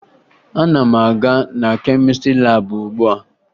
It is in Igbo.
Ana m aga na kemịstrị laabụ ugbua